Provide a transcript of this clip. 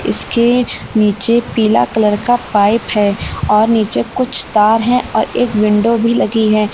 इसके नीचे पीला कलर का पाइप है और नीचे कुछ तार है और एक विंडो भी लगी है।